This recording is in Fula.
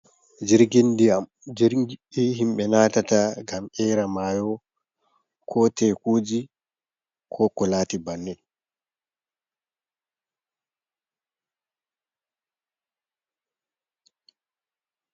Jirgi diyam jiri himbe natata gam era mayo, ko tekuji, ko kulati bannen.